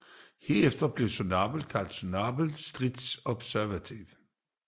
Herefter blev Zorobabel kaldt Zorobabel strictæ observantiæ